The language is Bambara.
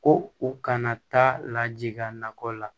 Ko u kana taa lajigin a nakɔ la